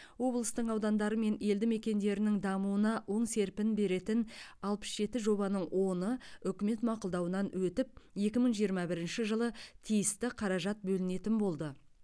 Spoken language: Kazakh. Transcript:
облыстың аудандары мен елді мекендерінің дамуына оң серпін беретін алпыс жеті жобаның оны үкімет мақұлдауынан өтіп екі мың жиырма бірінші жылы тиісті қаражат бөлінетін болды